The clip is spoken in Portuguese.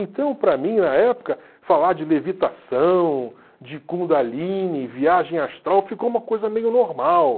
Então, para mim, na época, falar de levitação, de Kundalini, viagem astral, ficou uma coisa meio normal.